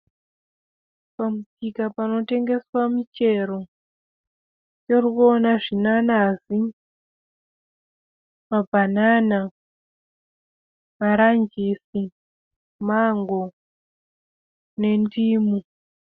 Pamusika panotengeswa michero tirikuona zvinanazi, mabhanana, maranjisi, mango nendimu.